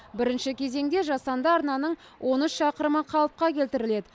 бірінші кезеңде жасанды арнаның он үш шақырымы қалыпқа келтіріледі